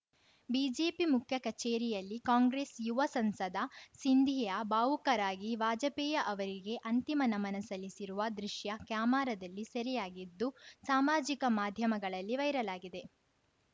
BJP ಮುಖ್ಯ ಕಚೇರಿಯಲ್ಲಿ ಕಾಂಗ್ರೆಸ್‌ ಯುವ ಸಂಸದ ಸಿಂಧಿಯಾ ಭಾವುಕರಾಗಿ ವಾಜಪೇಯಿ ಅವರಿಗೆ ಅಂತಿಮ ನಮನ ಸಲ್ಲಿಸಿರುವ ದೃಶ್ಯ ಕ್ಯಾಮೆರಾದಲ್ಲಿ ಸೆರೆಯಾಗಿದ್ದು ಸಾಮಾಜಿಕ ಮಾಧ್ಯಮಗಳಲ್ಲಿ ವೈರಲ್‌ ಆಗಿದೆ